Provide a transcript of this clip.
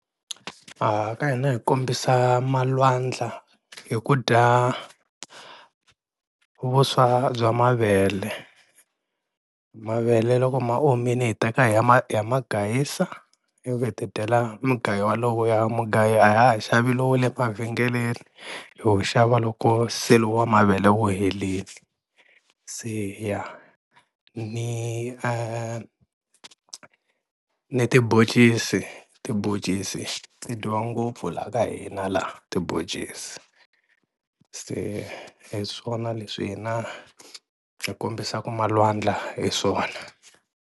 A ka hina hi kombisa malwandla hi ku dya vuswa bya mavele, mavele loko ma omile hi teka hi ya ma ya ma gayisa ivi tidyela mugayo walowuya, mugayo a ha ha xavi lowu wa le mavhengeleni ho xava loko wa mavele wu helini, se ya ni ni tiboncisi tiboncisi ti dyiwa ngopfu laha ka hina laha tiboncisi, se hi swona leswi hina hi kombisaka malwandla hi swona.